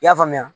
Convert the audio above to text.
I y'a faamuya